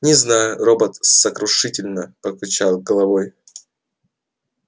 не знаю робот сокрушительно покачал головой